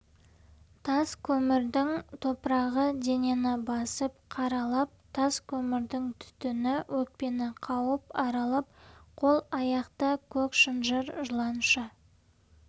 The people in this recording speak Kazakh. тас көмірдің топырағы денені басып қаралап тас көмірдің түтіні өкпені қауып аралап қол-аяқта көк шынжыр жыланша